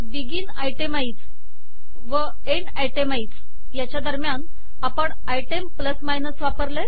begin itemize व end itemize च्या दरम्यान आपण आयटेम प्लस मायनस वापरले